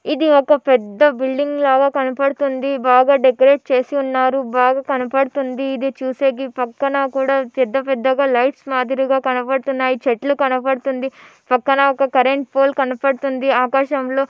ఇది ఒక పెద్ద బిల్డింగ్ లాగ కనపడుతుంది. బాగా డెకరేట్ చేసి ఉన్నారు బాగా కనపడుతుంది ఇది చూసేకి పక్కన కూడా పెద్ద పెద్దగా లైట్స్ మాదిరిగా కనబడుతున్నాయి చెట్లు కనపడుతుంది. పక్కన ఒక కరెంట్ పోల్ కనపడుతుంది ఆకాశంలో.